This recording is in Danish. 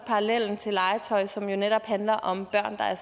legetøj som netop handler om børn der er